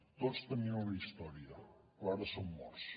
tots tenien una història però ara són morts